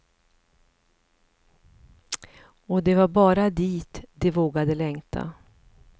Och det var bara dit de vågade längta.